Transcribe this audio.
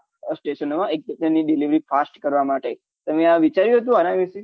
એઈક station ની delivery fast કરવા માટે તમે આ વિચાર્યું હતું આના વિશે